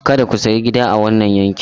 Kada ku sayi gida a wannan yankin!